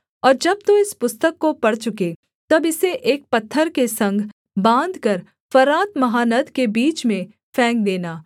और जब तू इस पुस्तक को पढ़ चुके तब इसे एक पत्थर के संग बाँधकर फरात महानद के बीच में फेंक देना